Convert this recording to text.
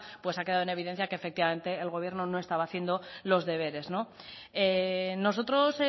pues ha quedado en evidencia que efectivamente el gobierno no estaba haciendo los deberes nosotros